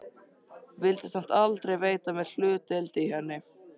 Vildi samt aldrei veita mér hlutdeild í henni.